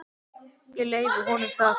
Ég leyfi honum það.